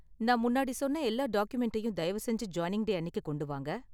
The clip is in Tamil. நான் முன்னாடி சொன்ன எல்லா டாக்குமெண்டையும் தயவு செஞ்சு ஜாயினிங் டே அன்னிக்கு கொண்டு வாங்க.